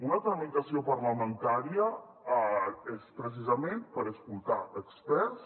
una tramitació parlamentària és precisament per escoltar experts